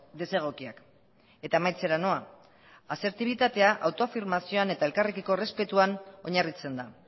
desegokiak eta amaitzera noa asertibitatea autoafirmazioan eta elkarrekiko errespetuan oinarritzen da